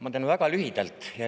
Ma teen väga lühidalt.